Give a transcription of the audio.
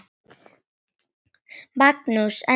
Magnús: En kaupið?